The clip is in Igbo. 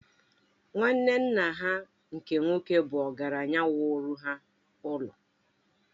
Nwanne nna ha nke nwoke bụ ọgaranya wuru ha ụlọ